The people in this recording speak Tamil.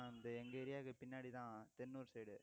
எங்க area க்கு பின்னாடி தான் தென்னூர் side